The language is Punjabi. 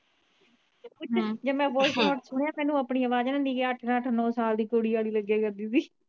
ਜੇ ਮੈ voice note ਸੁਣਿਆ ਮੈਨੂੰ ਆਪਣੀ ਆਵਾਜ਼ ਨਾ ਅੱਠ ਨਾ ਅੱਠ ਨੋ ਸਾਲ ਦੀ ਕੁੜੀ ਆਲੀ ਲਗਿਆ ਕਰਦੀ ਸੀ।